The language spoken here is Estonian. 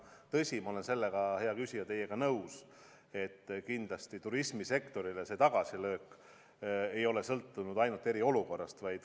Tõsi, ma olen, hea küsija, teiega nõus, et kindlasti see tagasilöök turismisektorile ei ole tulenenud ainult eriolukorrast.